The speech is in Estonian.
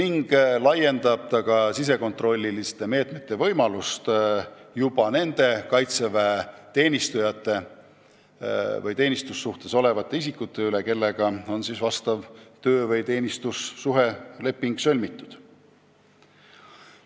Need sisekontrolli meetmed laienevad ka nendele Kaitseväe teenistujatele või teenistussuhtes olevatele isikutele, kellega on töö- või teenistussuhte leping sõlmitud.